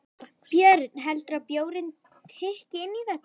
Björn: Heldurðu að bjórinn tikki inn í þetta?